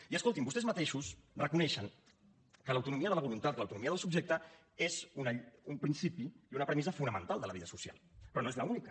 i escoltin vostès mateixos reconeixen que l’autonomia de la voluntat que l’autonomia del subjecte és un principi i una premissa fonamental de la vida social però no és l’única